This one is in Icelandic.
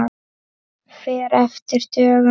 Fer eftir dögum.